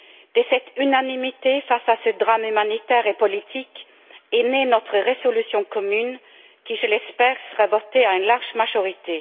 De cette unanimité face à ce drame humanitaire et politique est née notre résolution commune qui, je l'espère, sera votée à une large majorité.